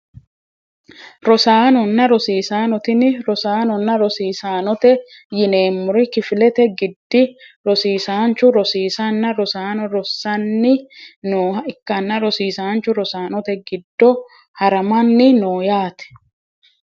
Rosaanona rosiisano tini rosaanona rosiisanote yineemori kifilete giddi rosiisanchu rosiisanna rosaano rosani nooha ikanna rosiisanchu rosaanote giddo haramani no yaate.